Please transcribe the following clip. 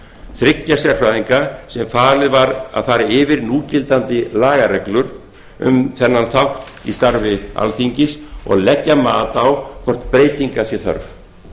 þriggja sérfræðinga sem falið var að fara yfir núgildandi lagareglur um þennan þátt í starfi alþingis og leggja mat á hvort breytinga sé þörf